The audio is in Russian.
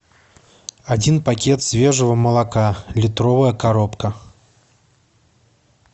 один пакет свежего молока литровая коробка